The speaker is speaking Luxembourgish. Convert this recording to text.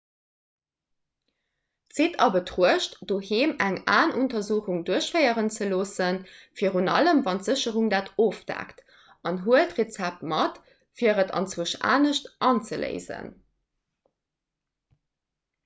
zitt a betruecht doheem eng aenuntersuchung duerchféieren ze loossen virun allem wann d'versécherung dat ofdeckt an huelt d'rezept mat fir et anzwousch anescht anzeléisen